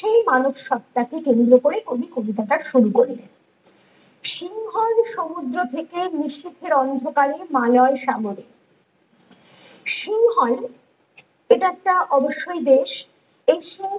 সেই মানুষ সত্তা কে কেন্দ্র করে কবি কবিতাটা শুরু করলেন সিংহল সমুদ্র থেকে নিশীথের অন্ধকারে মায়ার সাগরে সিংহল এটা একটা অবশ্যই দেশ এই দেশ এই